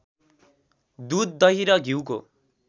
दुध दहि र घ्युको